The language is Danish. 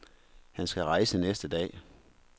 Han skal rejse næste dag.